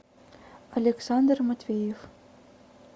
александр матвеев